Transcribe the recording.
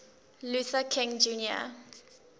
luther king jr